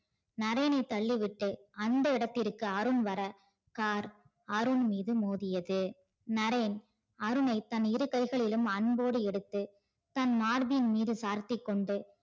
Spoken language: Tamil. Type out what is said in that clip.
நரேனை தள்ளி விட்டு அந்த இடத்துக்கு அருண் வர car அருண் மீது மோதியது. நரேன் அருணை தன் இரு கைகளை அன்போடு எதுட்டு தன் மார்பின் மீது சாத்திக்கொண்டு